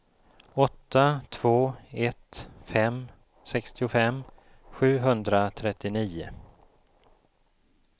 åtta två ett fem sextiofem sjuhundratrettionio